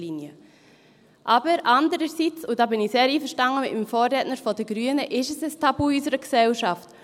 Aber andererseits, und da bin ich sehr einverstanden mit meinem Vorredner von den Grünen, ist es ein Tabu in unserer Gesellschaft.